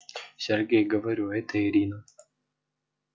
сергей говорю это ирина